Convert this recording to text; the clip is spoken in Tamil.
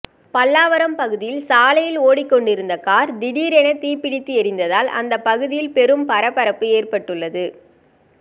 பல்லாவரம் பகுதியில் சாலையில் ஓடிக்கொண்டிருந்த கார் திடீரென தீப்பிடித்து எரிந்ததால் அந்த பகுதியில் பெரும் பரபரப்பு ஏற்பட்டுள்ளது